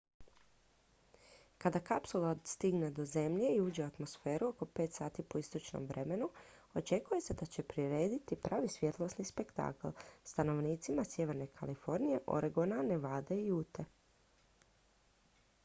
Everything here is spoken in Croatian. kada kapsula stigne do zemlje i uđe u atmosferu oko 5 sati po istočnom vremenu očekuje se da će prirediti pravi svjetlosni spektakl stanovnicima sjeverne kalifornije oregona nevade i ute